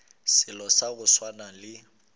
selo sa go swana le